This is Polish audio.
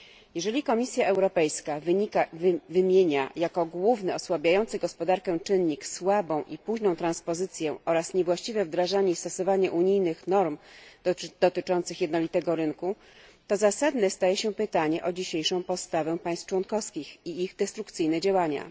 Jeżeli Komisja Europejska wymienia jako główny osłabiający gospodarkę czynnik słabą i późną transpozycję oraz niewłaściwe wdrażanie i stosowanie unijnych norm dotyczących jednolitego rynku, to zasadne staje się pytanie o dzisiejszą postawę państw członkowskich i ich destrukcyjne działania.